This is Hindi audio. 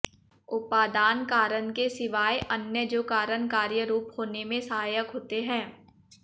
उपादान कारण के सिवाय अन्य जो कारण कार्य रूप होने में सहायक होते हैं